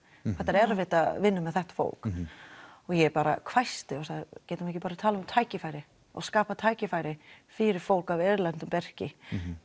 erfitt að vinna með þetta fólk og ég bara hvæsti og sagði getum við ekki bara talað um tækifæri og skapað tækifæri fyrir fólk af erlendu bergi